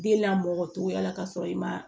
Den lamɔcogoya la ka sɔrɔ i ma